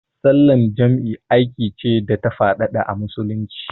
Sallar jam'i aiki ce da ta faɗaɗa a Musulunci.